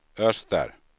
öster